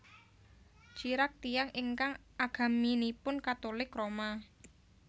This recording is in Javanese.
Chirac tiyang ingkang agaminipun Katulik Roma